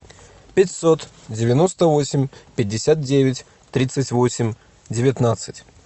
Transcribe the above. пятьсот девяносто восемь пятьдесят девять тридцать восемь девятнадцать